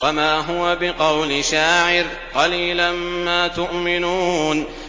وَمَا هُوَ بِقَوْلِ شَاعِرٍ ۚ قَلِيلًا مَّا تُؤْمِنُونَ